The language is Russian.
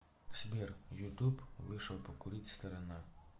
сбер ютуб вышел покурить сторона